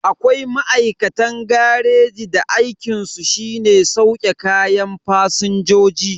Akwai ma'aikatan gareji da aikinsu shine sauke kayan fasinjoji.